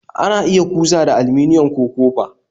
Ana iya kusa da aliminium, ko copa